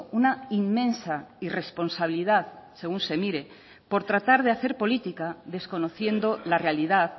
una inmensa irresponsabilidad según se mire por tratar de hacer política desconociendo la realidad